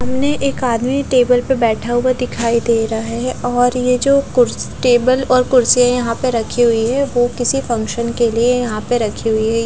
सामने एक आदमी टेबल पे बेठा हुआ दिखाई दे रहा है और येजो कुद्स टेबल और कुड्सिया यहा पे रखी हुई है वो किसी फंक्शन के लिए यहा पे रखी हुई है।